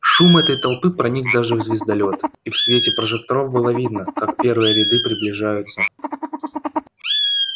шум этой толпы проник даже в звездолёт и в свете прожекторов было видно как первые ряды приближаются